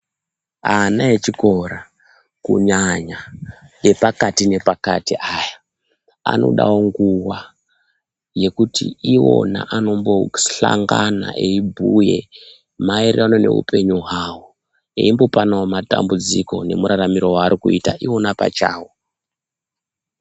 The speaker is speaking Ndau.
Ana echikora kunyanya epakati nepakati aya anodawo nguwa yekuti iwona anombohlangana eibhuya maererano neupenyu hwavo imbopana matambudziko nemuraramiro waarikuita iwona pachawo.